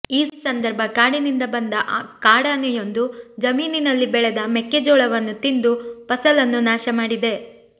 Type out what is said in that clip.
ಈ ಸಂದರ್ಭ ಕಾಡಿನಿಂದ ಬಂದ ಕಾಡಾನೆಯೊಂದು ಜಮೀನಿನಲ್ಲಿ ಬೆಳೆದ ಮೆಕ್ಕೆ ಜೋಳವನ್ನು ತಿಂದು ಫಸಲನ್ನು ನಾಶ ಮಾಡಿದೆ